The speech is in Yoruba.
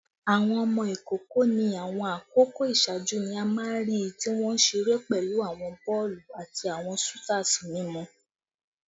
Awọn ọmọ ikoko ni awọn akoko iṣaaju ni a maa n rii ti wọn nṣire pẹlu awọn bọọlu ati awọn soothers mimu